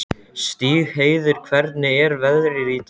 Stígheiður, hvernig er veðrið í dag?